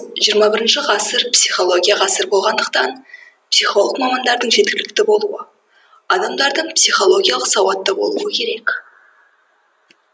жиырма бірінші ғасыр психология ғасыры болғандықтан психолог мамандардың жеткілікті болуы адамдардың психологиялық сауатты болуы керек